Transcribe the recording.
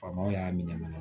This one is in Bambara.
Faamaw y'a minɛ